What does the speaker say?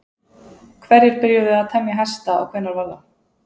hverjir byrjuðu að temja hesta og hvenær var það